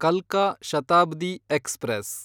ಕಲ್ಕಾ Shatabdi express